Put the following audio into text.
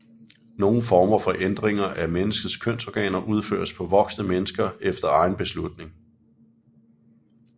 Nogle former for ændringer af menneskers kønsorganer udføres på voksne mennesker efter egen beslutning